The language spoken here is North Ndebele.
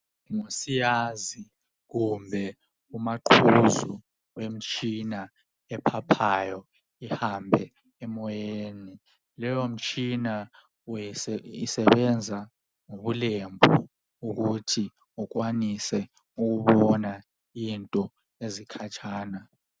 Ngusiyazi kumbe umaqhuzu wemitshina ephaphayo. Ihambe emoyeni. Leyomitshina isebenza ngobulembu. Ukuthi ukwanise ukubona izinto ezikhatshana.